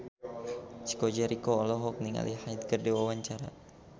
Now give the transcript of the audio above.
Chico Jericho olohok ningali Hyde keur diwawancara